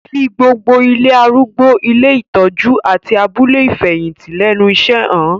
Fi gbogbo ilé arúgbó, ilé ìtọ́jú, àti abúlé ìfẹ̀yìntì lẹ́nu iṣẹ́ han